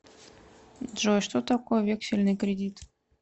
джой что такое вексельный кредит